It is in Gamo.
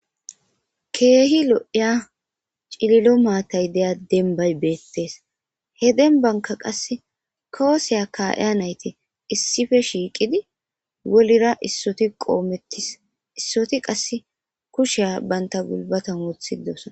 Keehi lo7iya cililo maatay deya denbay beettes he denbanka qasse kooseya ka7eya nayti issife shiiqidi wolira issoti qoomettis issoti qass kusheya banta bulbatan wothidosna.